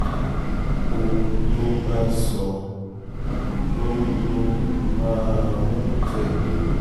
ohun tó bá sọ ló ló máa ń um tẹ̀lé